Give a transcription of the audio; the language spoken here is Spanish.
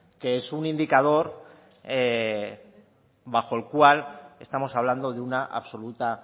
que es un indicador bajo el cual estamos hablando de una absoluta